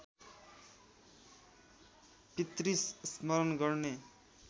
पितृ स्मरण गर्ने